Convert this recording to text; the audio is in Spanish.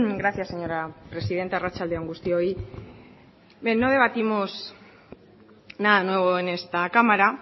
gracia señora presidenta arratsalde on guztioi bien no debatimos nada nuevo en esta cámara